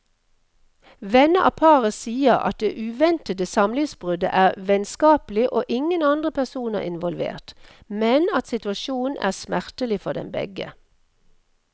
Venner av paret sier at det uventede samlivsbruddet er vennskapelig og ingen andre personer involvert, men at situasjonen er smertelig for dem begge.